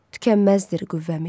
Tükənməzdir qüvvəmiz.